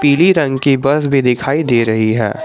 पीली रंग की बस भी दिखाई दे रही हैं।